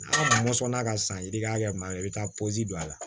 A kun mɔsɔn n'a ka sanji hakɛ ma i bɛ taa don a la